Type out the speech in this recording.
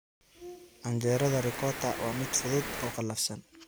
Canjeerada Ricotta waa mid fudud oo qalafsan.